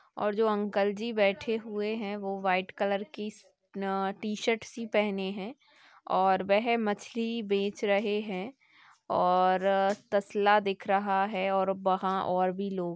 और जो अंकल जी बैठे हुए हैं वो व्हाइट कलर की टी सर्ट सी पहने हैं और वह मछली बेच रहे हैं और तसला दिखा रहा हैं और वहाँ और भी लोग--